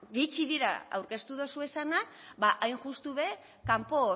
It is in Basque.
gutxi dira aurkeztu dozuezanak ba hain justu be kanpo